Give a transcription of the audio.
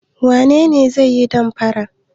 Wane ne zai yi damfara?